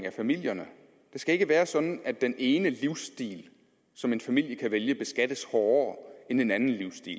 af familierne det skal ikke være sådan at den ene livsstil som en familie kan vælge beskattes hårdere end den anden livsstil